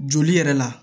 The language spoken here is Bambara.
Joli yɛrɛ la